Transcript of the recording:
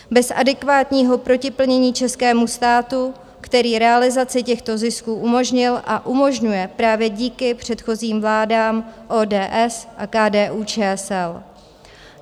Bez adekvátního protiplnění českému státu, který realizaci těchto zisků umožnil a umožňuje právě díky předchozím vládám ODS a KDU-ČSL.